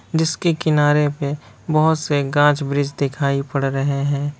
जिसके किनारे पे बहुत से गाछ वृक्ष दिखाई पड़ रहे हैं।